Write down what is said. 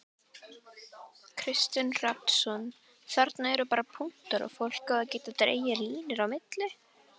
Kristinn Hrafnsson: Þarna eru bara punktar og fólk á að geta dregið línur á milli?